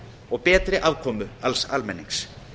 og betri aðkomu alls almennings